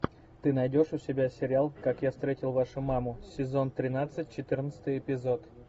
ты найдешь у себя сериал как я встретил вашу маму сезон тринадцать четырнадцатый эпизод